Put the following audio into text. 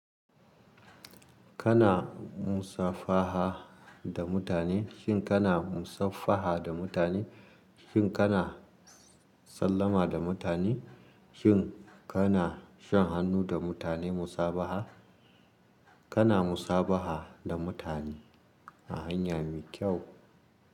Kana musafaha da mutane, shin kana musafaha da mutane? Shin kana sallama da mutane? Shin kana shan hannu da mutane musabaha? Kana musabaha da mutane a hanya mai kyau.